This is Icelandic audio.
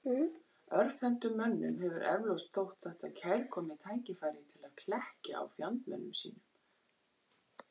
Örvhentum mönnum hefur eflaust þótt þetta kærkomið tækifæri til að klekkja á fjandmönnum sínum.